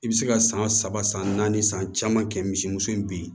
I bɛ se ka san saba san naani san caman kɛ misimuso in bi